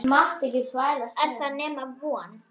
Er það nema von?